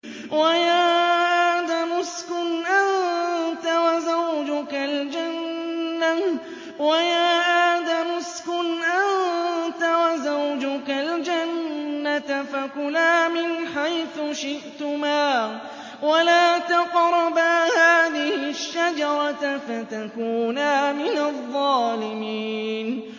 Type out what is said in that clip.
وَيَا آدَمُ اسْكُنْ أَنتَ وَزَوْجُكَ الْجَنَّةَ فَكُلَا مِنْ حَيْثُ شِئْتُمَا وَلَا تَقْرَبَا هَٰذِهِ الشَّجَرَةَ فَتَكُونَا مِنَ الظَّالِمِينَ